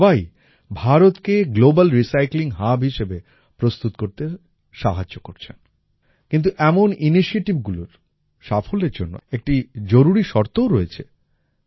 এরা সবাই ভারতকে গ্লোবাল রিসাইক্লিং হাব হিসেবে প্রস্তুত করতে সাহায্য করছেন কিন্তু এমন ইনিশিয়েটিভগুলির সাফল্যের জন্য একটা জরুরী শর্তও রয়েছে